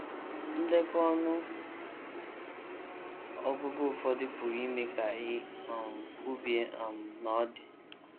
Ndekọ ọnụ ọgụgụ ụfọdụ pụrụ ime ka i um kwubie um na ọ dị.